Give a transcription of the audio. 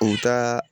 U ka